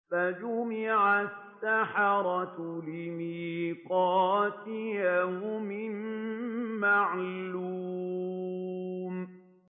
فَجُمِعَ السَّحَرَةُ لِمِيقَاتِ يَوْمٍ مَّعْلُومٍ